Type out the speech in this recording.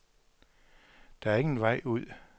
Der er ingen vej ud.